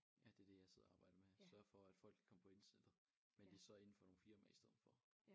Ja det det jeg sidder og arbejder med sørger for at folk kan komme på internettet men det så indenfor nogle firmaer i stedet for